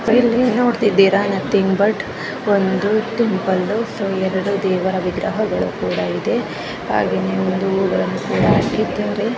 ಇದು ಒಂದು ಟೆಂಪಲ್ ಎರಡು ದೇವರ ವಿಗ್ರಹ ಗಳು ಕೂಡ ಇದೆ ಹಾಗೆ ಹೂ ಗಳು ಕೂಡ ಇದೆ ಅದರ ಹೋಳ್ಗೆ ತುಂಬಾ ಜನ ಕೂತಿದಾರೆ ಮತ್ತೆ ಫ್ಯಾನ್ ಕೂಡ ಇದೆ ಟೈಮ್ ಕೂಡ ಇದೆ ಬಾಬಾ ಸ್ವಾಮಿ ಕೂಡ ಇದಾರೆ.